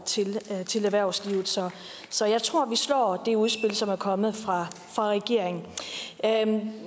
til erhvervslivet så så jeg tror vi slår det udspil som er kommet fra regeringen